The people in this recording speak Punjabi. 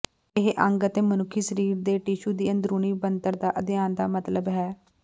ਇਹ ਅੰਗ ਅਤੇ ਮਨੁੱਖੀ ਸਰੀਰ ਦੇ ਟਿਸ਼ੂ ਦੀ ਅੰਦਰੂਨੀ ਬਣਤਰ ਦਾ ਅਧਿਐਨ ਦਾ ਮਤਲਬ ਹੈ